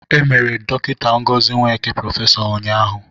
E mere Dọkịta Ngozi Nweke prọfesọ ụnyaahụ